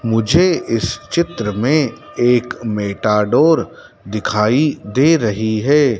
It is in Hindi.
मुझे इस चित्र मे एक मेटाडोर दिखाई दे रही है।